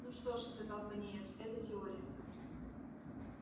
ну что ж сказал пониетс это теория